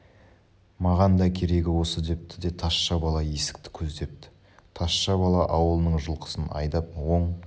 маған да керегі осы депті де тазша бала есікті көздепті тазша бала ауылының жылқысын айдап оң